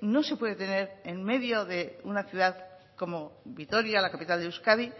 no se puede tener en medio de una ciudad como vitoria la capital de euskadi